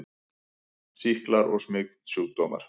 SÝKLAR OG SMITSJÚKDÓMAR